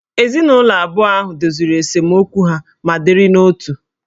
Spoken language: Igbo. Ezinụlọ abụọ ahụ doziri esemokwu ha ma dịrị n'otu